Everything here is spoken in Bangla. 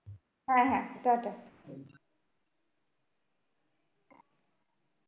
হ্যাঁ হ্যাঁ টাটা।